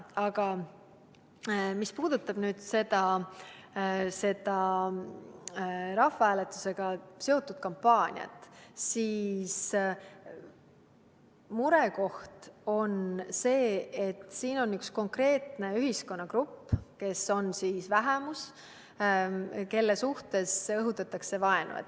Aga mis puudutab rahvahääletusega seotud kampaaniat, siis murekoht on see, et siin on üks konkreetne ühiskonnagrupp, kes on vähemuses ja kelle suhtes õhutatakse vaenu.